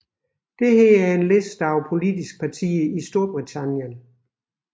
Dette er en liste over politiske partier i Storbritannien